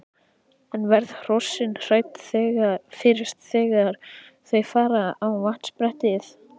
En verða hrossin hrædd fyrst þegar þau fara á vatnsbrettið?